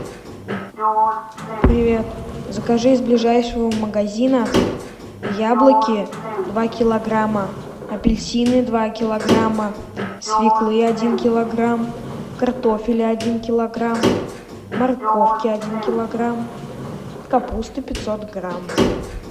привет закажи из ближайшего магазина яблоки два килограмма апельсины два килограмма свеклы один килограмм картофеля один килограмм морковки один килограмм капусты пятьсот грамм